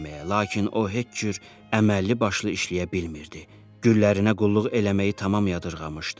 Lakin o heç cür əməlli başlı işləyə bilmirdi, güllərinə qulluq eləməyi tamam yadırmışdı.